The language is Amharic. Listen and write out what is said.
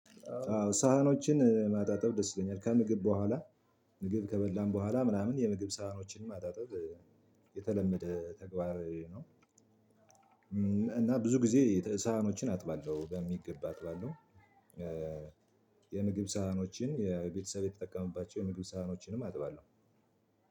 አዎ ሳህኖችን ማጣጠብ ደስ ይለኛል ከምግብ በኋላ ምግብ ከበላን በኋላ ምናምን የምግብ ሰሀኖችን ማጣጠብ የተለመደ ተግባር ነው። እና ብዙ ጊዜ ሰሀኖችን አጥባለው በሚገባ አጥባለው። የምግብ ሳህኖችን የቤተሰብ የተጠቀሙባቸው የምግብ ሳህኖችንም አጥባለሁ።